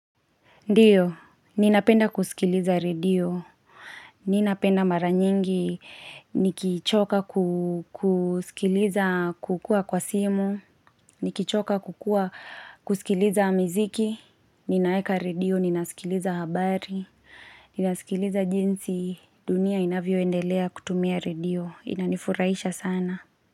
Ndiyo, ninapenda kusikiliza radio, ninapenda mara nyingi nikichoka kusikiliza kukua kwa simu, nikichoka kukua kusikiliza miziki, ninaeka radio, ninasikiliza habari, ninasikiliza jinsi dunia inavyoendelea kutumia radio, inanifurahisha sana.